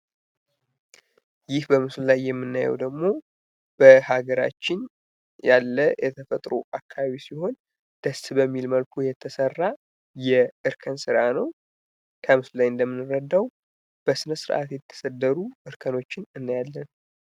ይህ በምስሉ ላይ የምናየው በሀገራችን ያለ የተፈጥሮ አካባቢ ሲሆን ደስ በሚል መልኩ የተሰራ የእርከን ስራ ነው። ከምስሉ እንደምንረዳው ስራ የተሰደዱ እርከኖችን ያለያለን።